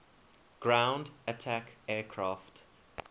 ground attack aircraft